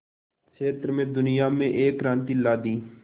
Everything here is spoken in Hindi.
क्षेत्र में दुनिया में एक क्रांति ला दी